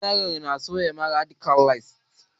General na so ya mare duka lieutenants